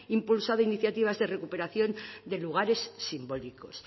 impulsado iniciativas de recuperación de lugares simbólicos